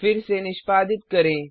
फिर से निष्पादित करें